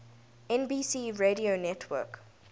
nbc radio network